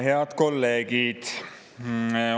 Head kolleegid!